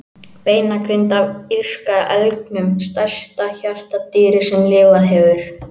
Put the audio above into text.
Beinagrind af írska elgnum, stærsta hjartardýri sem lifað hefur.